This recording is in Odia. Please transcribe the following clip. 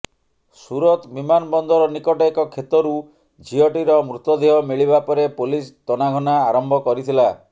ସୁରତ ବିମାନବନ୍ଦର ନିକଟ ଏକ କ୍ଷେତରୁ ଝିଅଟିର ମୃତଦେହ ମିଳିବା ପରେ ପୋଲିସ ତନାଘନା ଆରମ୍ଭ କରିଥିଲା